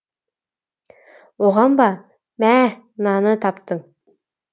оған ба мәһ мынаны таптың